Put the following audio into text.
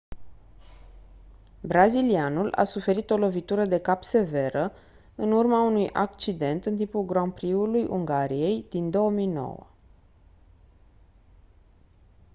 brazilianul a suferit o lovitură de cap severă în urma unui accident în timpul grand prix-ului ungariei din 2009